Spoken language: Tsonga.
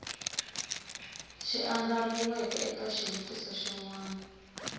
andlariweke eka xivutiso xin wana